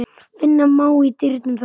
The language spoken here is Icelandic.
Finna má í dyrum þann.